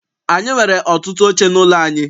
Anyị nwere ọtụtụ oche n'ụlọ anyị.